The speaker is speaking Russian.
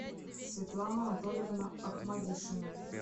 светлана анатольевна ахмадишина